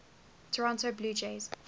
toronto blue jays